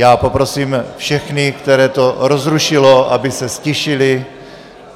Já poprosím všechny, které to rozrušilo, aby se ztišili.